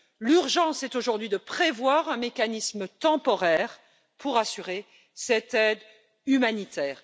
L'urgence est aujourd'hui de prévoir un mécanisme temporaire pour assurer cette aide humanitaire.